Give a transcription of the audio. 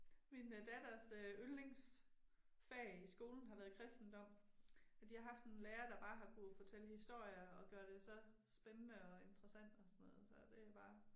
Min datters øh yndlingsfag i skolen har været kristendom. For de har haft en lærer der bare har kunne fortælle historier og gøre det så spændede og interessant og sådan noget så det er bare